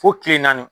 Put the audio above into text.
Fo kile naani